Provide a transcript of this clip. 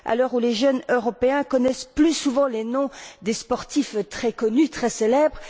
Ceci dit, les jeunes Européens connaissent plus souvent les noms des sportifs très connus, très célèbres.